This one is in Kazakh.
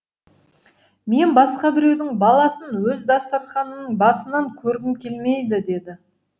мен басқа біреудің баласын өз дастарханымның басынан көргім келмейді деді